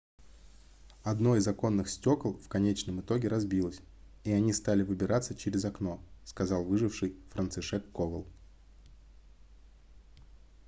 одно из оконных стёкол в конечном итоге разбилось и они стали выбираться через окно - сказал выживший францишек ковал